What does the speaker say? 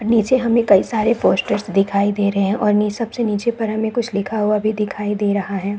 नीचे हमें कई सारे पोस्टर्स दिखाई दे रहे हैं और नी सबसे नीचे पर हमें कुछ लिखा हुआ भी दिखाई दे रहा है।